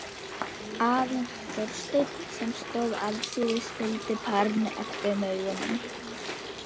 Mig langar að sýna þér mynd af henni.